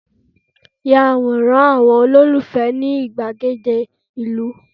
ya Aworan àwọn ololufẹ ni igbagede ilu